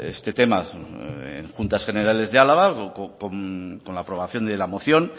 este tema en juntas generales de álava con la aprobación de la moción